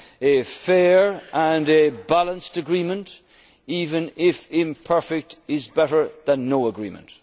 choices for us all. A fair and a balanced agreement, even if imperfect, is better